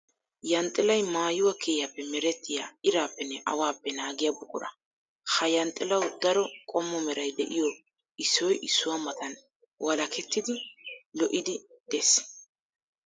Yanxxillay maayuwa kiriyappe merettiya iraappenne awappe naagiya buqura. Ha yanxxillawu daro qommo meray de'iyo issoy issuwa matan walakettiddi lo'idde de'ees.